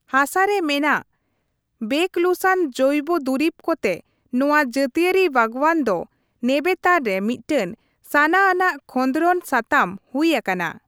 ᱦᱟᱥᱟ ᱨᱮ ᱢᱮᱱᱟᱜ ᱵᱮᱠᱚᱞᱩᱥᱟᱱ ᱡᱚᱹᱭᱵᱚ ᱫᱩᱨᱤᱵᱽ ᱠᱚᱛᱮ ᱱᱚᱣᱟ ᱡᱟᱹᱛᱤᱭᱟᱹᱨᱤ ᱵᱟᱜᱽᱣᱟᱱ ᱫᱚ ᱱᱮᱵᱮᱛᱟᱨ ᱨᱮ ᱢᱤᱫᱴᱮᱱ ᱥᱟᱱᱟ ᱟᱱᱟᱜ ᱠᱷᱚᱸᱫᱽᱨᱚᱱ ᱥᱟᱛᱟᱢ ᱦᱩᱭ ᱟᱠᱟᱱᱟ ᱾